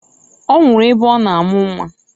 Ọ nwụrụ ebe ọ na amụ nnwa.